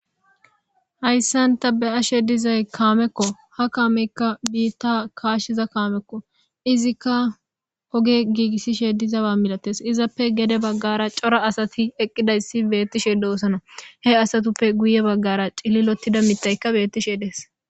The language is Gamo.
Hayssanta be ashe dizay kaamekko ha kaameykka biitta kaashshiza kaamekko izikka oge giigissishe dizawa milates izappe gede baggara cora asati eqqidayssi beettishe doosona he asatuppe guye baggara cililotida mitaykka beettishe dees.